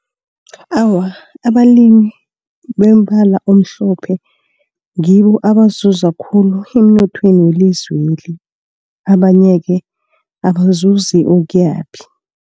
Awa, abalimi bombala omhlophe ngibo abazuza khulu emnothweni welizweli. Abanye-ke abazuzi ukuyaphi.